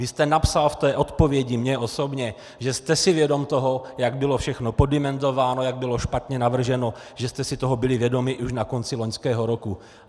Vy jste napsal v té odpovědi mně osobně, že jste si vědom toho, jak bylo všechno poddimenzováno, jak bylo špatně navrženo, že jste si toho byli vědomi už na konci loňského roku.